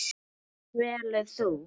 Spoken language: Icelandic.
Hvort velur þú?